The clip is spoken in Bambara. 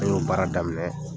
E y'o baara daminɛ.